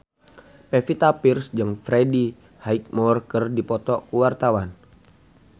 Pevita Pearce jeung Freddie Highmore keur dipoto ku wartawan